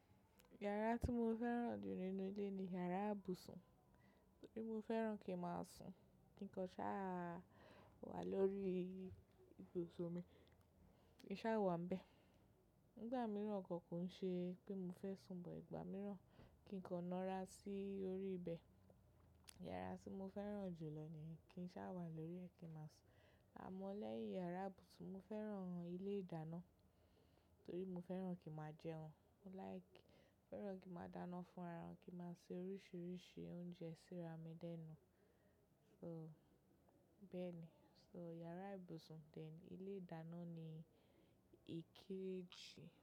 Yàrá tí mo fẹ́ràn jù nínú ilé ni yàrá ìbùsùn, torí mo fẹ́ràn kí máa sùn. Kí nkọ́ ṣá wà lórí ibùsùn mi, kí n sá wà ń bẹ. Ìgbà mìíràn gan kò ń ṣe pé mo fẹ́ sùn, but ìgbà mìíràn kí kọ́ nọra sí orí ibẹ̀. Yàrá tí mo fẹ́ràn jù lọ ni kí n sá wà lórí rẹ̀ kí n máa sùn. Àmọ́ lẹ́yìn yàrá ìbùsùn mo fẹ́ràn ilé ìdáná torí mo fẹ́ràn kí máa jẹun. Mo like— fẹ́ràn kí máa dáná fún ara mi, kí máa se oríṣiríṣi oúnjẹ, ṣira mi lé nú. So bẹ́ẹ̀ ni, so yàrá ìbùsùn then ilé ìdáná ni èkéjì.